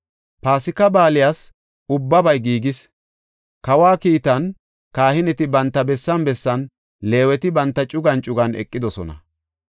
Paasika Baaliyas ubbabay giigis; kawa kiitan, kahineti banta bessan bessan, Leeweti banta cugan cugan eqidosona.